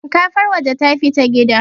shinkafar waje ta fita gida